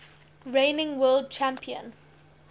reigning world champion